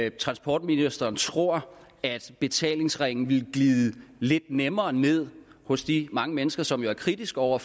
ikke transportministeren tror at betalingsringen ville glide lidt nemmere ned hos de mange mennesker som jo er kritiske over